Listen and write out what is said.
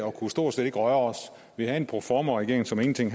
og kunne stort set ikke røre os vi havde en proformaregering som ingenting